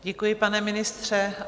Děkuji, pane ministře.